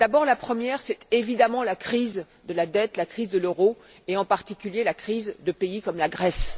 La première, c'est évidemment la crise de la dette, la crise de l'euro et, en particulier, la crise de pays comme la Grèce.